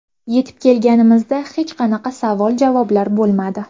Yetib kelganimizda hech qanaqa savol-javoblar bo‘lmadi.